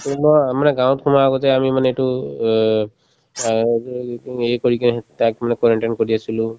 কোনোবা মানে গাঁৱত সোমাৱাৰ আগতে আমি মানে এইটো অ অ এই কৰি কিনে তাক মানে quarantine কৰি আছিলো